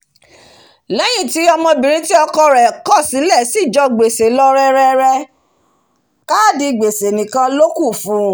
léyìn tí ọmọbìrin tí ọkọ rẹ̀ kọ̀ sílẹ̀ ti jẹ gbèsè lọ rẹrẹ káàdì gbèsè nìkan lókù fún u